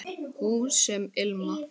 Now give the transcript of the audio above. Hús sem ilma